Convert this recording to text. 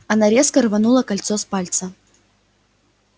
она резко рванула кольцо с пальца